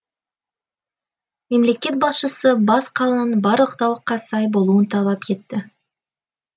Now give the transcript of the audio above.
мемлекет басшысы бас қаланың барлық талапқа сай болуын талап етті